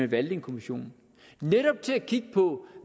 vælger en kommission netop til at kigge på